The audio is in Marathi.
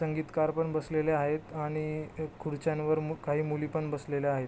संगीतकार पण बसलेले आहेत आणि खुर्च्यांवर काही मुली पण बसलेल्या आहेत.